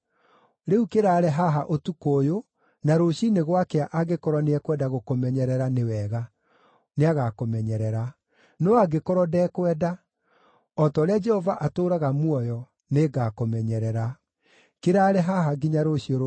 Rĩu kĩraare haha ũtukũ ũyũ, na rũciinĩ gwakĩa angĩkorwo nĩekwenda gũkũmenyerera, nĩ wega; nĩagakũmenyerera. No angĩkorwo ndekwenda, o ta ũrĩa Jehova atũũraga muoyo, nĩngakũmenyerera. Kĩraare haha nginya rũciũ rũciinĩ.”